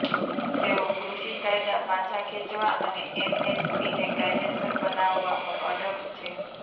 તેઓ કૃષિ કાયદા પાછા ખેંચવા અને એમએસપીને કાયદેસર બનાવવા પર અડગ છે